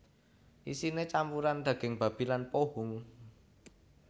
Isiné campuran daging babi lan pohung